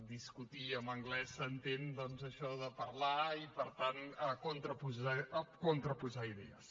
discutir en anglès s’entén doncs això de parlar i per tant contraposar idees